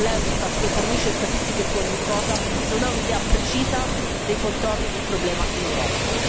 L'Eurostat, che fornisce statistiche su ogni cosa, non ha un'idea precisa dei contorni del problema in Europa.